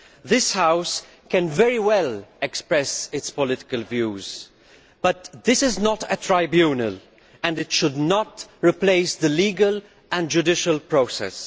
This House can very well express its political views, but this is not a tribunal and it should not replace the legal and judicial process.